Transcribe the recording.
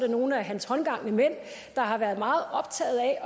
nogle af hans håndgangne mænd har været meget optaget af at